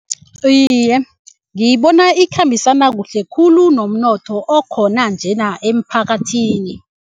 Iye, ngiyibona ikhambisana kuhle khulu nomnotho okhona njena emphakathini.